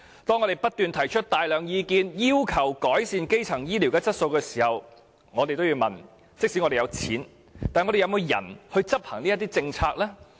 當我們不斷提出大量意見，要求改善基層醫療質素時，我們也要問即使有錢，但有沒有人手執行政策呢？